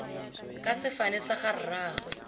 ka sefane sa ga rraagwe